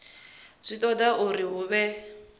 zwi toda uri hu vhe